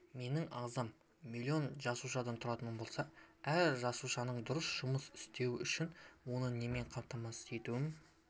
менің ағзам миллион жасушадан тұратын болса әр жасушаның дұрыс жұмыс істеуі үшін оны немен қамтамасыз етуім